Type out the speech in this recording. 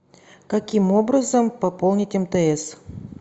каким образом пополнить мтс